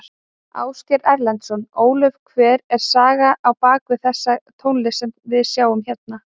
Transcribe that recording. Ásgeir Erlendsson: Ólöf hver er sagan á bak við þessa tónlist sem við sjáum hérna?